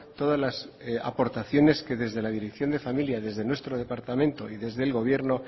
todas las aportaciones que desde la dirección de familia desde nuestro departamento y desde el gobierno